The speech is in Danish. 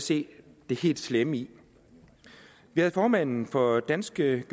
se det helt slemme i vi havde formanden for danske